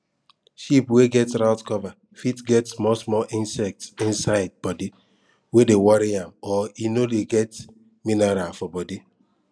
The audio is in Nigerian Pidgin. sheep wey get rought cover fit get small small insect inside body wey dey worry am or e no dey get miniral for body